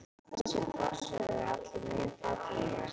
Þessir fossar eru allir mjög fallegir.